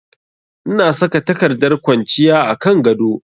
Ina saka takardar ƙwanciya a kan gado